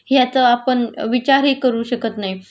ह्याचा आपण विचारही करू शकत नाही.